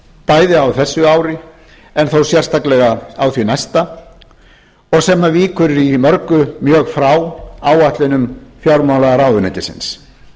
bæði á þessu ári en þó sérstaklega á því næsta og sem víkur í mörgu mjög frá áætlunum fjármálaráðuneytisins